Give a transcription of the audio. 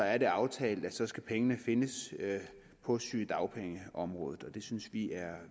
er det aftalt at så skal pengene findes på sygedagpengeområdet det synes vi er